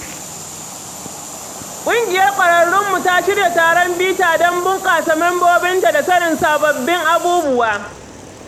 Ƙungiyar ƙwararrunmu ta shirya taron bita don bunƙasa mambobinta da sanin sababbin abubuwa.